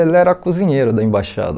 Ele era cozinheiro da embaixada.